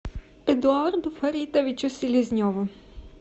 эдуарду фаритовичу селезневу